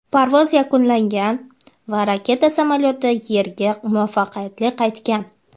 parvoz yakunlangan va raketa samolyoti Yerga muvaffaqiyatli qaytgan.